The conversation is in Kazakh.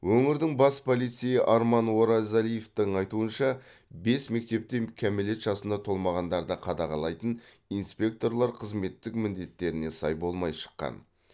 өңірдің бас полицейі арман оразалиевтің айтуынша бес мектепте кәмелет жасына толмағандарды қадағалайтын инспекторлар қызметтік міндетттеріне сай болмай шыққан